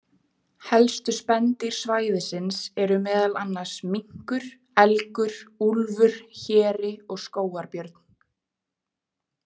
Helstu spendýr svæðisins eru meðal annars minkur, elgur, úlfur, héri og skógarbjörn.